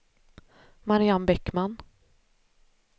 Marianne Bäckman